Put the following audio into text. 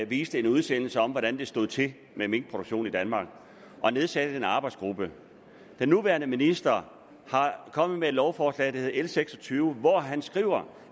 viste en udsendelse om hvordan det stod til med minkproduktionen i danmark og nedsatte en arbejdsgruppe den nuværende minister er kommet med et lovforslag der hedder l seks og tyve hvor han skriver